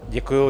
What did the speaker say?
Děkuji.